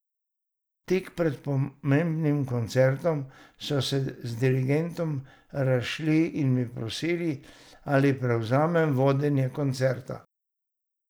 Tik pred pomembnim koncertom so se z dirigentom razšli in me prosili, ali prevzamem vodenje koncerta.